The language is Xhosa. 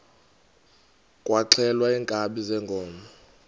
kwaxhelwa iinkabi zeenkomo